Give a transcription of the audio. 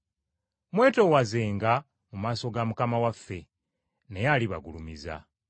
Mwetoowazenga mu maaso ga Mukama waffe, naye alibagulumiza.